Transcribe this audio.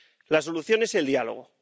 La solución es el diálogo.